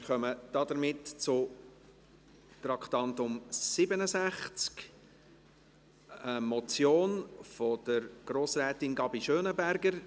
Wir kommen damit zum Traktandum 67, einer Motion von Grossrätin Sarah Gabi Schönenberger: